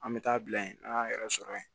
An bɛ taa bila yen n'an y'an yɛrɛ sɔrɔ yen